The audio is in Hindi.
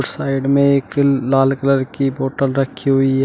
साइड में एक लाल कलर की बॉटल रखी हुई है।